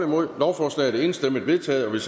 nul lovforslaget er enstemmigt vedtaget og vil